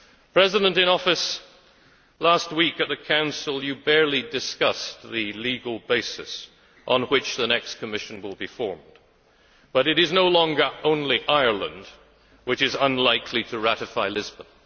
President in Office, last week at the Council you barely discussed the legal basis on which the next Commission will be formed, but it is no longer only Ireland which is unlikely to ratify Lisbon.